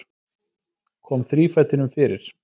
Kom þrífætinum fyrir.